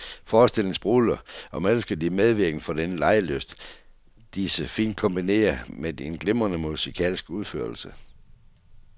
Forestillingen sprudler, og man elsker de medvirkende for den legelyst, de så fint kombinerer med en glimrende musikalsk udførelse.